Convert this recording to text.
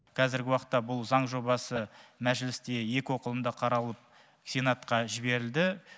қазіргі уақытта бұл заң жобасы мәжілісте екі оқылымда қаралып сенатқа жіберілді